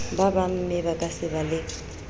ba bangmme se kaba le